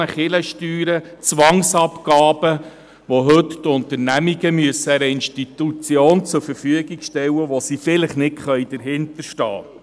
40 Mio. Franken Kirchensteuern, Zwangsabgaben, die heute die Unternehmen einer Institution zur Verfügung stellen, hinter der sie vielleicht nicht stehen können.